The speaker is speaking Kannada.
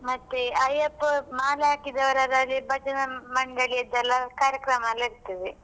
ಮತ್ತೆ ಅಯ್ಯಪ್ಪ ಮಾಲೆ ಹಾಕಿದವರ ಭಜನೆ ಮಂಡಳಿದೆಲ್ಲ ಕಾರ್ಯಕ್ರಮ ಎಲ್ಲಾ ಇರ್ತದೆ.